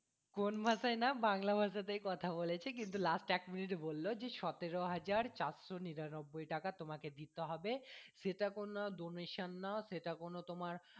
কোন ভাষায় না বাংলা ভাষা তেই কথা বলেছি কিন্তু last এক minute এ বললো জি সতেরো হাজার চারশো নিরানব্বই টাকা তোমাকে দিতে হবে সেটা কোনো donation না সেটা কোনো তোমার